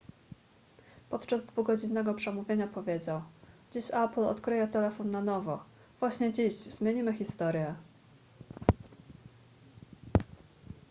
podczas dwugodzinnego przemówienia powiedział dziś apple odkryje telefon na nowo właśnie dziś zmienimy historię